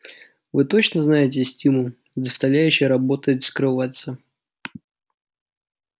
вы точно знаете стимул заставляющий работать скрываться